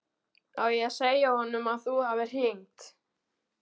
Á ég að segja honum að þú hafir hringt?